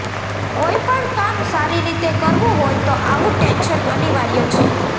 કોઈપણ કામ સારી રીતે કરવું હોય તો આવું ટેન્શન અનિવાર્ય છે